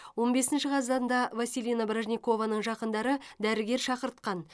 он бесінші қазанда василина бражникованың жақындары дәрігер шақыртқан